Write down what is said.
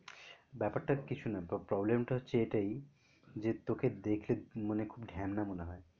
ব্যাপারটা কিছুই না তোর problem টা হচ্ছে এটাই যে তোকে দেখলে মনে মনে হয়